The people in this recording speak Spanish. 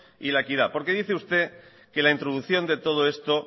y la equidad porque dice usted que la introducción de todo esto